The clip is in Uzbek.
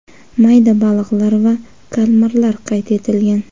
mayda baliqlar va kalmarlar qayd etilgan.